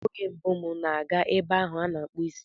Ọ bụ oge mbụ m na-aga ebe ahu ana akpu isi